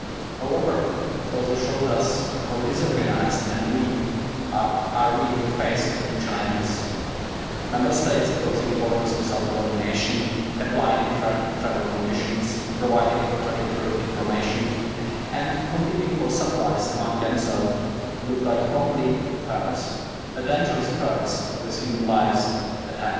However, it also showed us how disorganised and weak we are in the face of new challenges. Member States closing borders without coordination, applying different travel conditions, providing contradictory information, and competing for supplies among themselves look like complete chaos, a dangerous chaos with human lives at